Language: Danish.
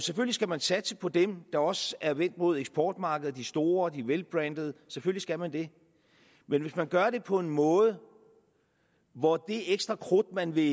skal man satse på dem der også er vendt mod eksportmarkedet de store og de velbrandede selvfølgelig skal man det men hvis man gør det på en måde hvor det ekstra krudt man vil